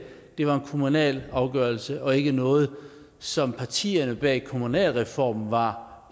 det var en kommunal afgørelse og ikke noget som partierne bag kommunalreformen var